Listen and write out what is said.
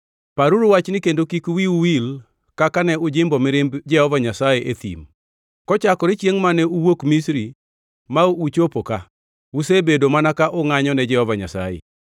Paruru wachni kendo kik wiu wil kaka ne ujimbo mirimb Jehova Nyasaye e thim. Kochakore chiengʼ mane uwuok Misri ma uchopo ka, usebedo mana ka ungʼanyo ne Jehova Nyasaye.